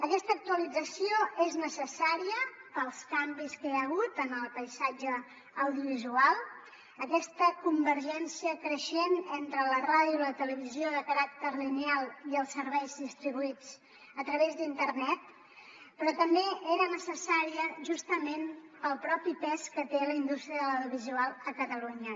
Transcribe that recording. aquesta actualització és necessària pels canvis que hi ha hagut en el paisatge audiovisual aquesta convergència creixent entre la ràdio i la televisió de caràcter lineal i els serveis distribuïts a través d’internet però també era necessària justament pel propi pes que té la indústria de l’audiovisual a catalunya